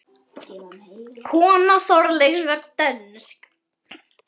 Kona Þorkels var dönsk.